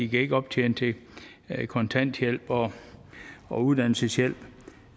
kan optjene til kontanthjælp og uddannelseshjælp